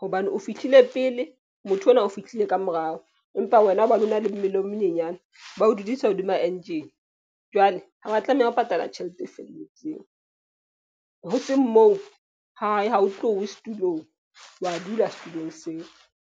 hobane o fihlile pele motho ona o fihlile ka morao, empa wena hobane o na le mmele o monyenyane, bao dudisa hodima engine. Jwale ha wa tlameha ho patala tjhelete e felletseng. Ho seng moo ha e ha o tlowe setulong, wa dula setulong seo.